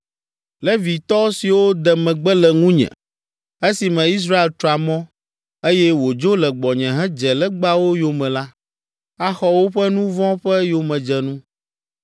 “ ‘Levitɔ siwo de megbe le ŋunye, esime Israel tra mɔ, eye wòdzo le gbɔnye hedze legbawo yome la, axɔ woƒe nu vɔ̃ ƒe yomedzenu.